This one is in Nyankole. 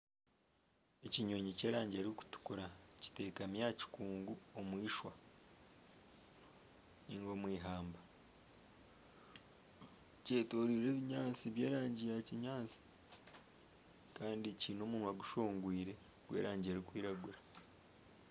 Ekinyonyi ky'erangi erikutukura kitekami aha kikungu omwishwa ninga omu ihamba kyetoreirwe ebinyaatsi by'erangi ya kinyaatsi kandi kiine omunwa gushongwire gw'erangi erikwiragura.